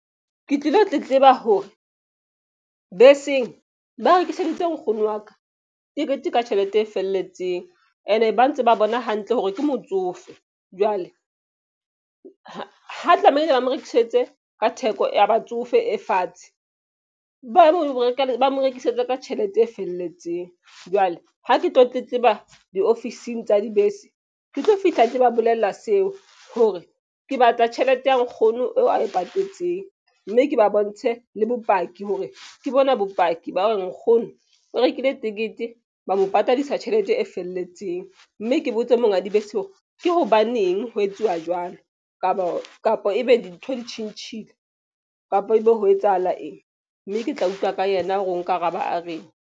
Ke tlilo tletleba hore beseng ba rekiseditse nkgono wa ka tekete ka tjhelete e felletseng. Ene, ba ntse ba bona hantle hore ke motsofe. Jwale ha ba tlamehile ba mo rekisetse ka theko ya batsofe e fatshe. Ba mo rekisetse ka tjhelete e felletseng. Jwale ha ke tlo tletleba diofising tsa dibese, ke tlo fihla ke ba bolella seo. Hore ke batla tjhelete ya nkgono eo ae patetseng. Mme ke ba bontshe le bopaki hore ke bona bopaki ba hore nkgono o rekile tekete. Ba mo patadisa tjhelete e felletseng. Mme ke botse monga dibese hore ke hobaneng ho etsuwa jwalo? Kapa ebe dintho di tjhentjhile kapo ebe ho etsahala eng? Mme ke tla utlwa ka yena hore o nkaraba a reng.